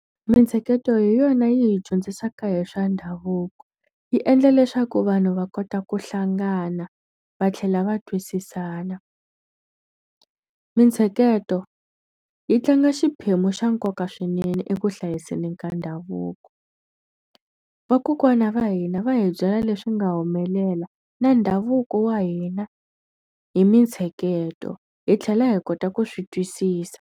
Mintsheketo hi yona yi hi dyondzisaka hi swa ndhavuko. Yi endla leswaku vanhu va kota ku hlangana, va tlhela va twisisana. Mintsheketo yi tlanga xiphemu xa nkoka swinene eku hlayiseni ka ndhavuko. Vakokwana va hina va hi byela leswi nga humelela na ndhavuko wa hina hi mintsheketo, hi tlhela hi kota ku swi twisisa.